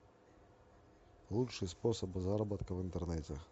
лучший способ заработка в интернете